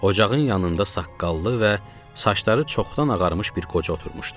Ocağın yanında saqqallı və saçları çoxdan ağarmış bir qoca oturmuşdu.